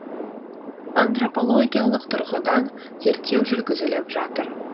антропологиялық тұрғыдан зерттеу жүргізіліп жатыр